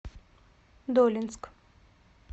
долинск